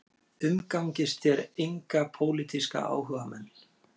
Umgangist þér enga pólitíska áhugamenn